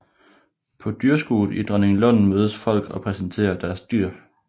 På dyrskuet i Dronninglund mødes folk og præsenterer deres dyr